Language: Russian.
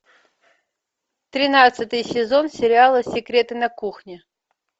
тринадцатый сезон сериала секреты на кухне